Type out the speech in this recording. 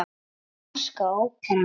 Norska óperan.